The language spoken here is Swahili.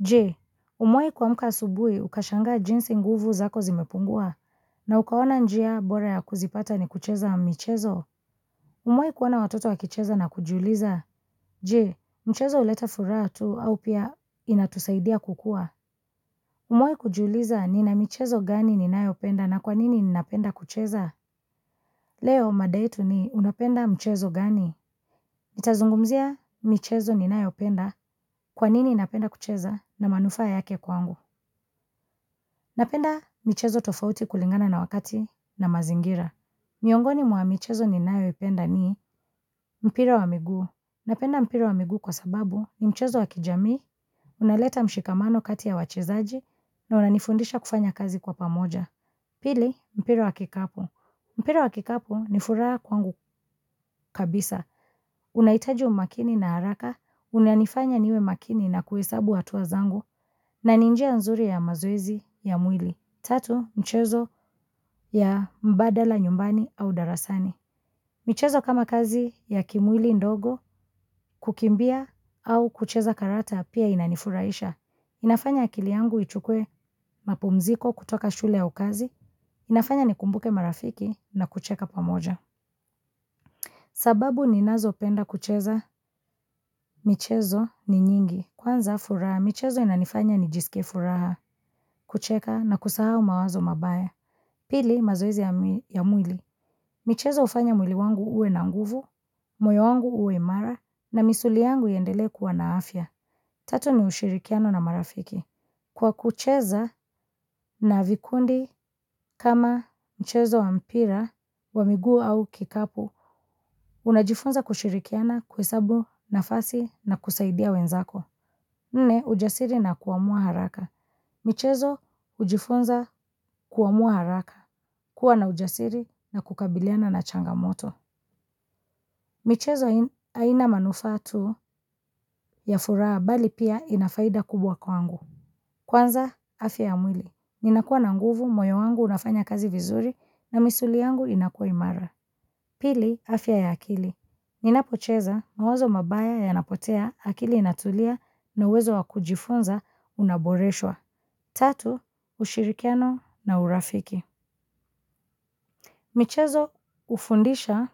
Je umewahi kuamka asubuhi ukashanga jinsi nguvu zako zimepungua na ukaona njia bora ya kuzipata ni kucheza michezo umewahi kuona watoto wakicheza na kujiuliza. Je mchezo huleta furaha tu au pia inatusaidia kukua umewahi kujiuliza nina michezo gani ninayopenda na kwanini ninapenda kucheza. Leo mada yetu ni unapenda mchezo gani. Nitazungumzia michezo ninayopenda kwanini napenda kucheza na manufaa yake kwangu. Napenda michezo tofauti kulingana na wakati na mazingira. Miongoni mwa michezo ni ninayoipenda ni mpira wa migu. Napenda mpira wa miguu kwa sababu ni mchezo wakijamii, unaleta mshikamano kati ya wachezaji na unanifundisha kufanya kazi kwa pamoja. Pili, mpira wa kikapu. Mpira wa kikapu ni furaha kwangu kabisa. Unahitaji umakini na haraka, unanifanya niwe makini na kuhesabu hatua zangu, na ninjia nzuri ya mazoezi ya mwili. Tatu, michezo ya mbadala nyumbani au darasani. Michezo kama kazi ya kimwili ndogo kukimbia au kucheza karata pia inanifurahisha. Inafanya akili yangu ichukue mapumziko kutoka shule au kazi, inafanya ni kumbuke marafiki na kucheka pamoja. Sababu ninazo penda kucheza, michezo ni nyingi. Kwanza furaha, michezo inanifanya nijisike furaha, kucheka na kusahau mawazo mabaya. Pili mazoezi ya mwili. Michezo hufanya mwili wangu uwe na nguvu, moyo wangu uwe imara na misuli yangu iendele kuwa na afya. Tatu ni ushirikiano na marafiki. Kwa kucheza na vikundi kama mchezo wa mpira wa miguu au kikapu, unajifunza kushirikiana kuhesabu nafasi na kusaidia wenzako. Nne, ujasiri na kuamua haraka. Michezo, hujifunza kuamua haraka. Kuwa na ujasiri na kukabiliana na changamoto. Michezo, haina manufaa tu ya furaha bali pia inafaida kubwa kwangu. Kwanza, afya ya mwili. Ninakua na nguvu, moyo wangu unafanya kazi vizuri na misuli yangu inakua imara. Pili, afya ya akili. Ninapocheza mawazo mabaya yanapotea akili inatulia nauwezo wakujifunza unaboreshwa. Tatu, ushirikiano na urafiki. Michezo hufundisha